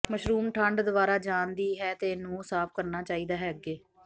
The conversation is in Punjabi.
ਮਸ਼ਰੂਮ ਠੰਢ ਦੁਆਰਾ ਜਾਣ ਦੀ ਹੈ ਅਤੇ ਨੂੰ ਸਾਫ਼ ਕਰਨਾ ਚਾਹੀਦਾ ਹੈ ਅੱਗੇ